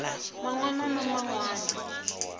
man wana na man wana